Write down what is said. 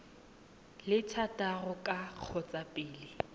le thataro ka kgotsa pele